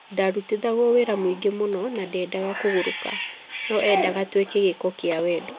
Ndarutithagua wĩra muingĩ mũno na ndedaga kũburũka, no endaga twike gĩĩko kia wendo